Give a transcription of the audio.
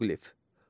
Heroqlif.